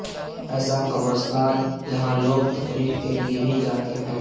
ایسا قبرستان جہاں لوگ تفریح کے لیے بھی جاتے ہیں